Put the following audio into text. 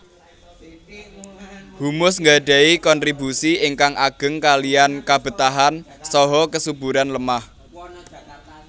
Humus gadahi konstribusi ingkang ageng kaliyan kabetahan saha kesuburan lemah